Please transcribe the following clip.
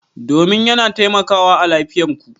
Domin yana taimakawa a lafiyar ku.